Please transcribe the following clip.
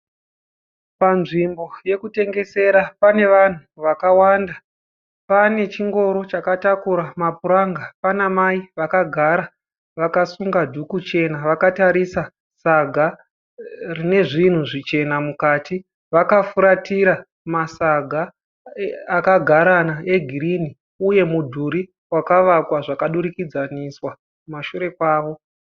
Panzvimbo yokutengesera, panevanhu vakawanda. Panechingoro chakatakura mapuranga. Panamai vakagara vakasunga dhuku chena vakatarisa saga rinezvinhu zvichena mukati. Vakafuratira masaga akagarana egirini uye mudhuri wakavakwa zvakadurikudzaniswa kumashure kwavo.